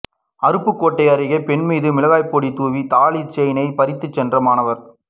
அருப்புக்கோட்டை அருகே பெண் மீது மிளகாய் பொடி தூவி தாலிச் செயினை பறித்துச் சென்ற மாணவர்